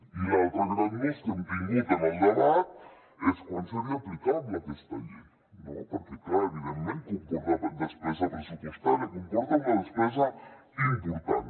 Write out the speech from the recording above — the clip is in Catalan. i l’altre gran nus que hem tingut en el debat és quan seria aplicable aquesta llei no perquè clar evidentment comporta despesa pressupostària comporta una despesa important